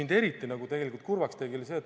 Aga mind tegi eriti kurvaks üks asi.